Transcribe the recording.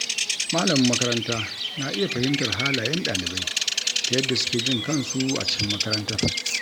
Malamin makaranta na iya fahimtar halayen ɗalibai ta yadda suke jin kansu a cikin makarantar.